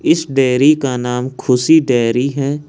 इस डेरी का नाम खुशी डेरी है।